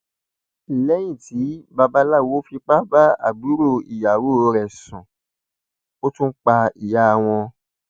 lẹyìn tí babaláwo fipá bá àbúrò ìyàwó rẹ sùn ó tún pa ìyá wọn